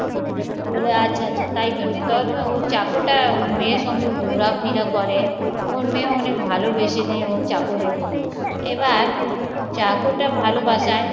ও বলে আচ্ছা আচ্ছা তাই জন্যে তো ও চাকরা ওর মেয়ের সঙ্গে ঘোরা ফেরা করে ওর মেয়ে অনেক ভালোবেসে নেয় ও চাকরের এবার চারটার ভালো বাসায়